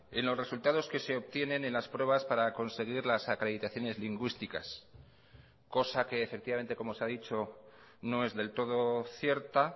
en los resultados que se obtienen en las pruebas para conseguir las acreditaciones lingüísticas cosa que efectivamente como se ha dicho no es del todo cierta